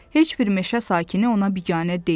Heç bir meşə sakini ona biganə deyil.